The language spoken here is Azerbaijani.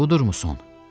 Budurmu son?